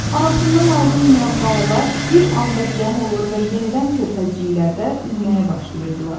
Anasından ayrılmayan balalar bir anda cəm olur və yenidən körfəzciklərdə üzməyə başlayırdılar.